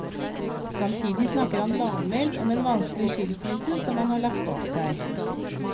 Samtidig snakker han lavmælt om en vanskelig skilsmisse som han har lagt bak seg.